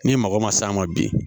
Ni mago ma s'a ma bi